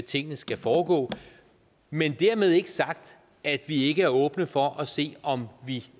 tingene skal foregå men dermed ikke sagt at vi ikke er åbne over for at se om vi